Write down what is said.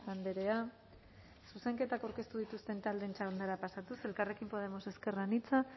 andrea zuzenketak aurkeztu dituzten taldeen txandara pasatuz elkarren podemos ezker anitza